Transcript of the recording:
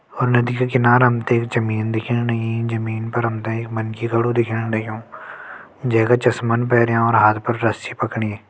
और नदी के किनारा हमते जमीन दिखेण लगीं जमीन पर हमते एक मनखी खड़ु दिखेण लग्यूं जैका चस्मन पैरियां और हाथ फर रस्सी पकड़ि।